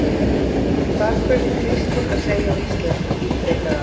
Hvað kunni Kristín að segja á íslensku? ítrekaði hann.